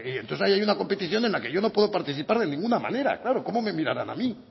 entonces ahí hay una competición en la que yo no puedo participar de ninguna manera claro cómo me mirarán a mí